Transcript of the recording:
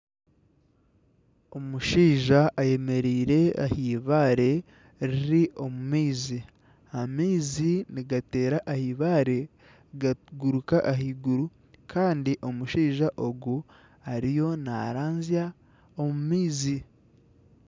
Omushaija ayemereire aha eibaare riri omu maizi. Amaizi nigateera aha eibaare gaguruka ahaiguru kandi omushaija ogu ariyo naraanzya omu maizi.